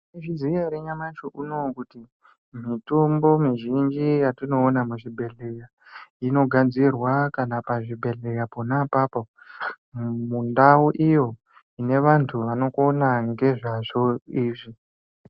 Mwaizviziya ere nyamashi unowu kuti mitombo mizhinji yatinoona muzvibhehleya inogadzirwa kana pazvibhedhleya pona apapo mundau iyo ine vantu vanokona ngezvazvo izvi.